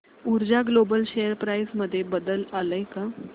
ऊर्जा global share price मध्ये बदल आलाय का